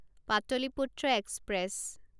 Pataliputra express